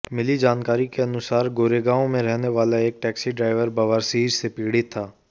मिली जानकारी के अनुसार गोरेगांव में रहने वाला एक टैक्सी ड्राइवर बवासीर से पीड़ित था